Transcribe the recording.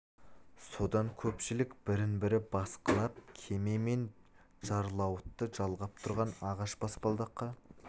содан көпшілік бірін-бірі басқылап кеме мен жарлауытты жалғап тұрған ағаш баспалдаққа қарай таласа-тармаса ұмтылсын